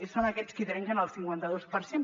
són aquests qui trenquen el cinquanta dos per cent